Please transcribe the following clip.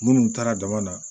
Minnu taara jama na